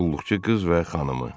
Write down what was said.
Qulluqçu qız və xanımı.